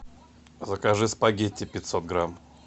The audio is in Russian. закажи спагетти пятьсот грамм